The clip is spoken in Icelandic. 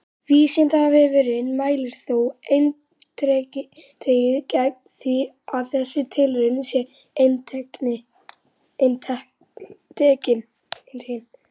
Vísindavefurinn mælir þó eindregið gegn því að þessi tilraun sé endurtekin!